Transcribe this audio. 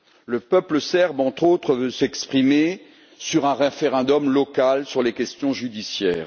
Le peuple serbe, entre autres, veut s'exprimer sur un référendum local sur les questions judiciaires.